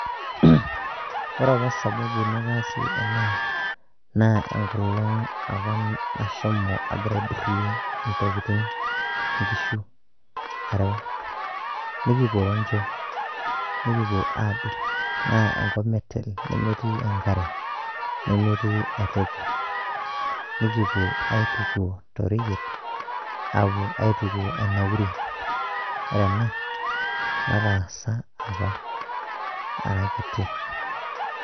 Ore apa sababu nataasie ena, naa enkolong apa nashomo agira aidurrie intokiting, inkishu areu, Nikipuo roncho. Nikipuo abik, naa enkop metel nemetii enkare, Nemetii ai toki. Nikipuo aituku toreyiet, apuo aituku enauri. Ore ena, nataasa apa arakiti.